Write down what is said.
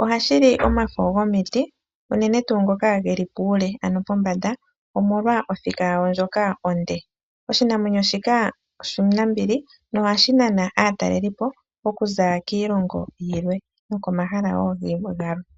oshashi li omafo gomiti unene tuu ngoka geli puule ano pombanda omolwa othika yayo ndjoka onde. Oshinamwenyo shika oshinambili nohashi nana aatalelelipo okuza kiilongo yilwe nokomahala wo galwe.